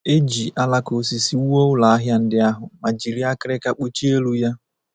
E ji alaka osisi wuo ụlọahịa ndị ahụ ma jiri akịrịka kpuchie elu ya.